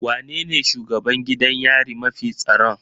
Wanene shugaban gidan yari mafi tsaron?